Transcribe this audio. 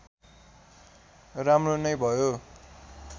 राम्रो नै भयो